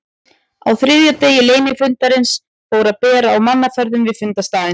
Á þriðja degi leynifundarins fór að bera á mannaferðum við fundarstaðinn.